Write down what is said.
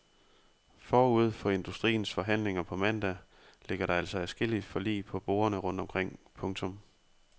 Forud for industriens forhandlinger på mandag ligger der altså adskillige forlig på bordene rundt omkring. punktum